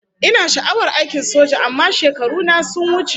Ina sha'awar aikin soja amma shekaru na sun wuce